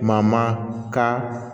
Ma ma ka